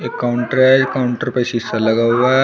Counter हैं counter पे शीशा लगा हुआ हैं।